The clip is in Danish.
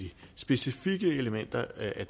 at